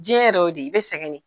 Diɲɛ yɛrɛ y'o de ye, i bɛ sɛgɛn